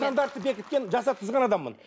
стандартты бекіткен жасатқызған адаммын